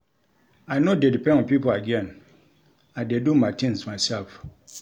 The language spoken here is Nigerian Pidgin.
I no dey depend on pipo again, I dey do my tins mysef.